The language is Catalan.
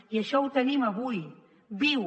i això ho tenim avui viu